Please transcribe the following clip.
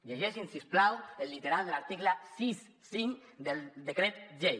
llegeixin si us plau el literal de l’article seixanta cinc del decret llei